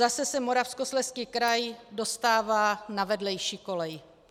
Zase se Moravskoslezský kraj dostává na vedlejší kolej.